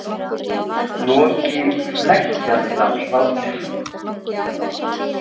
Loki hneggjaði af hlátri.